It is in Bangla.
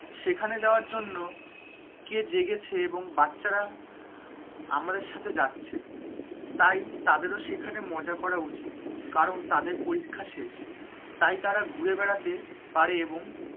সেখানে যাওয়ার জন্য, কে জেগেছে এবং বাচ্চারা, আমাদের সাথে যাচ্ছে, তাই তাদেরও সেখানে মজা করা উচিৎ কারণ তাদের পরীক্ষা শেষ, তাই তারা ঘুরে বেড়াতে পারে এবং,